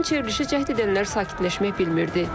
Lakin çevrilişi cəhd edənlər sakitləşmək bilmirdi.